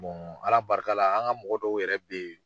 Ala barika la an ka mɔgɔ dɔw yɛrɛ be ye